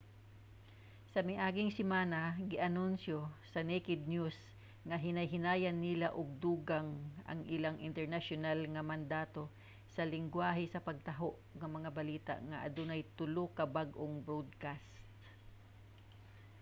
sa miaging semana gianunsyo sa naked news nga hinay-hinayan nila og dugang ang ilang internasyonal nga mandato sa linggwahe sa pagtaho og mga balita nga adunay tulo ka bag-ong broadcast